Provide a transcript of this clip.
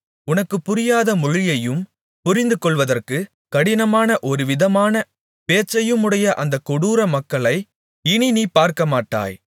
உனக்குப் புரியாத மொழியையும் புரிந்துகொள்வதற்குக் கடினமான ஒருவிதமான பேச்சையுமுடைய அந்தக் கொடூர மக்களை இனி நீ பார்க்கமாட்டாய்